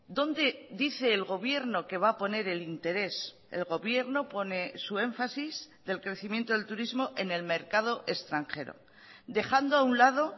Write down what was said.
dónde dice el gobierno que va a poner el interés el gobierno pone su énfasis del crecimiento del turismo en el mercado extranjero dejando a un lado